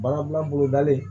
Baara dilan bolo dalen